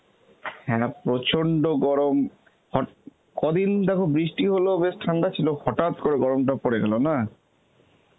হ্যাঁ প্রচন্ড গরম হট~ কদিন দেখো বৃষ্টি হল, বেশ ঠান্ডা ছিল, হঠাৎ করে গরমটা পড়ে গেল না?